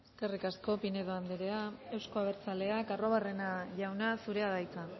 eskerrik asko pinedo andrea euzko abertzaleak arruabarrena jauna zurea da hitza